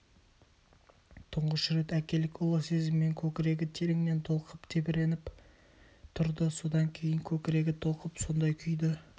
тұңғыш рет әкелік ұлы сезіммен көкірегі тереңнен толқып тебіреніп тұрды содан кейін көкірегі толқып сондай күйді